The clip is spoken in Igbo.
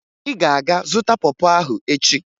Ị ga-aga zụta pọ pọ ahụ echi!